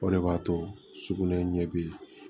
O de b'a to sugunɛ ɲɛ bi